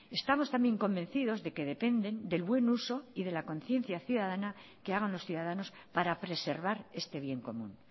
estamos también convencidos de que dependen del buen uso y de la conciencia ciudadana que hagan los ciudadanos para preservar este bien común